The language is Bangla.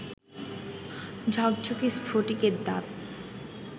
ঝকঝকে স্ফটিকের দাঁত